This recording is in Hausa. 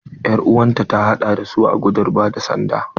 Er'uwar ki ta haɗa da su a gudun ba da sanda?